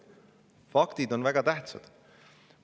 Faktid on väga tähtsad.